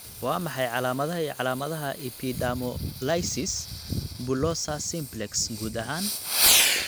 Waa maxay calaamadaha iyo calaamadaha Epidermolysis bullosa simplex, guud ahaan?